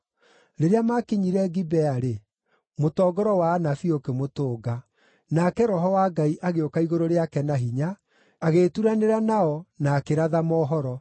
Rĩrĩa maakinyire Gibea-rĩ, mũtongoro wa anabii ũkĩmũtũnga; nake Roho wa Ngai agĩũka igũrũ rĩake na hinya, agĩĩturanĩra nao, na akĩratha mohoro.